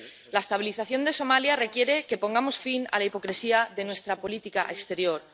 La estabilización de Somalia requiere que pongamos fin a la hipocresía de nuestra política exterior.